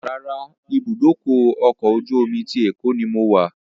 Rárá, ìbúdókọ̀ ọ̀kọ̀ ojú omi ti Èkó ni mo wà